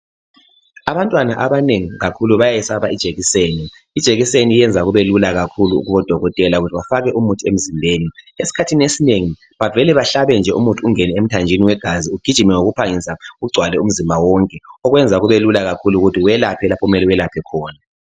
Abantwana abanengi kakhulu bayayesaba ijekiseni. Ijekiseni iyenza kube lula kakhulu kubodokotela ukuthi bafake umuthi emzimbeni. Esikhathini esinengi, bavele bahlabe nje umuthi ungene emthanjeni wegazi ugijime ngokuphangisa ugcwale umzimba wonke, okwenza kubelula kakhulu ukuthi welaphe lapho okumele welaphe khona.